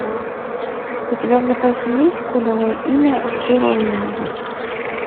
у тебя в запасе есть кодовое имя джеронимо